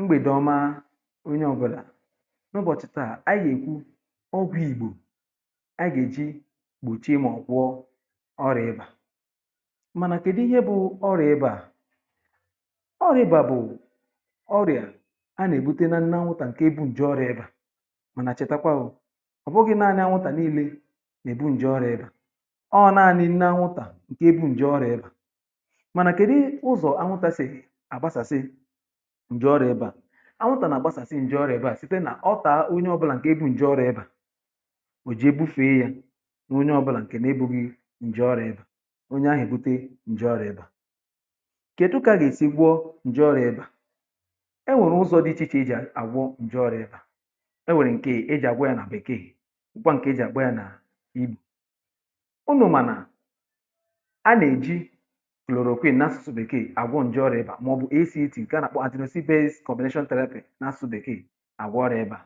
mgbèdi ọma onye ọ̀bụlà ụbọ̀chị̀ taa anyị èkwu ọgwụ̇ ìgbò um anyị gà-èji kpòchie mà ọ̀ gwọ ọrịà ịbà mànà kèdi ihe bụ ọrịà ịbà ọrịà ịbà bụ̀ ọrịà a nà-èbute nȧ nwụtà ǹkè ebu ǹje ọrịà ịbà mànà chètàkwa bụ̀ ọ̀ bụghị̇ naȧnị anwụtà nii̇lė nà-èbu ǹje ọrịà ịbà ọọ̀ naȧnị nna anwụtà ǹke ebu ǹje ọrịà ịbà mànà kèdi ụzọ̀ anwụtàsị̀ ǹje ọrụ̇ ebe à ànwụtà nà gbasàsị ǹje ọrụ̇ ebe à site nà ọ taa onye ọbụlà ǹkè ebu̇ ǹje ọrụ̇ ebà ò ji egbufe yȧ n’onye ọbụlà ǹkè nà-ebù gị ǹje ọrụ̇ ebà onye ahụ̀ èbute ǹje ọrụ̇ ebà kè etu ka gà-èsi gwọ ǹje ọrụ̇ ebà enwèrè ụzọ̇ dị̇ ichè ichè iji̇ àgwọ ǹje ọrụ̇ ebà um enwèrè ǹke e iji̇ àgwọ yȧ nà-àbèkèghì ụkwọ̇ ǹke e jì àgwọ yȧ nà ihi̇ ụnụ̇ mànà a nà-èji kùlòrò òkwe n’asụ̇sụ̇ bèkee àgwọ ǹje ọrụ̇ ebà n’asụ̀bè kà ị àgwọ ọrịà ịbȧ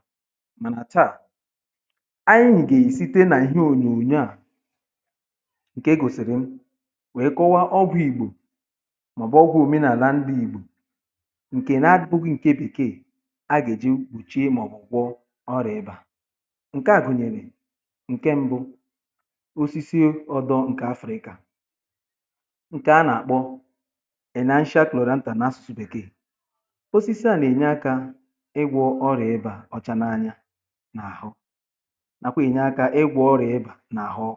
mànà chȧ à ànyị gà-èsite n’ihe ònyòònyo à ǹkè gòsìrì m wèe kọwaa ọbụìgbò màọ̀bụ̀ ọgwụ̇ òmenàlà ndụ̇ ìgbò ǹkè na-adịbụgwụ ǹkè bèkeè a gà-èji bùchie màọ̀bụ̀ kwọ ọrịà ịbȧ ǹke à gụ̀nyèrè ǹke mbụ osisi ọdọ ǹkè afrịka ǹkè a nà-àkpọ osisi à nà-ènye akȧ ịgwọ̇ ọrịa ebȧ ọ̀cha n’anya n’àhụ nàkwà ènye akȧ ịgwọ̇ ọrịa ebà n’àhụ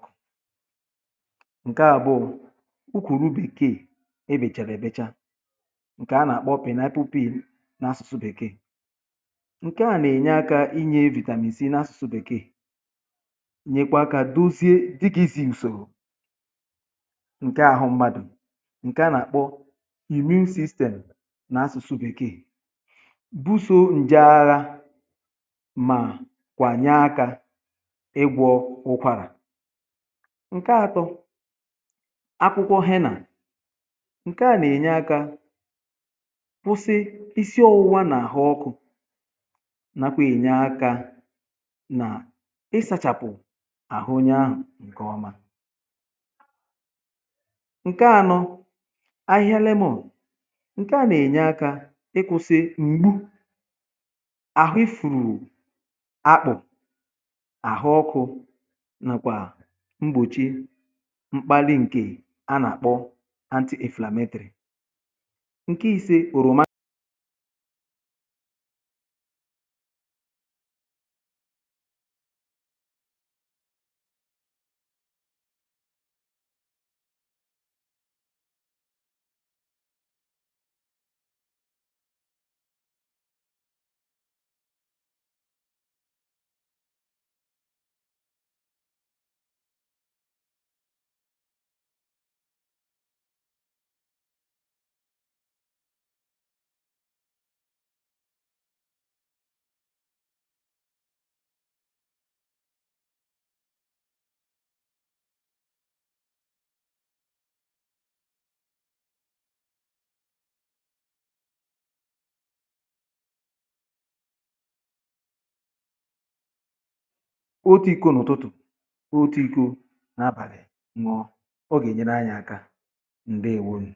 ǹke à bụ̀ ukwùru bèkee e bèchàbè bècha ǹke à nà-àkpọ pinapipu̇pì n’asụ̀sụ̀ bèkee ǹke à nà-ènye akȧ inyė evìtàmìsì n’asụ̀sụ̀ bèkee nyèkwa akȧ dozie dịkị̇zi̇ ùsòrò ǹke àhụ mgbadụ̀ ǹke à nà-àkpọ buso ǹje agha mà kwànya aka ịgwọ̇ ụkwàrà ǹke atọ akwụkwọ hịa nà ǹke à nà-ènye akȧ kwụsị isiọ̇wụ̇wȧ nà-àhụ ọkụ̇ nàkwà ènye akȧ nà ịsȧchàpụ̀ àhụnyȧ ahụ̀ ǹkè ọma ǹke anọ ahịhịa lemuȯ ǹke à nà-ènye akȧ àhụ ifùrù àkpụ àhụ ọkụ̇ nàkwà mgbochi mkpàli ǹkè a nà-àkpọ anti efelemetrì otu iko n’ụtụtụ̀ otu iko n’abàlị̀ ngọ̇ ọ gà-ènyere anyị̇ aka m̀gbè ewonù